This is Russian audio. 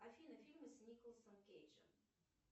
афина фильмы с николасом кейджем